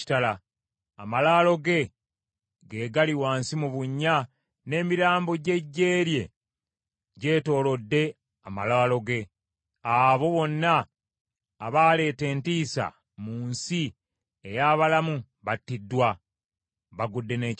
Amalaalo ge gali wansi mu bunnya, n’emirambo gy’eggye lye gyetoolodde amalaalo ge. Abo bonna abaaleeta entiisa mu nsi ey’abalamu battiddwa, bagudde n’ekitala.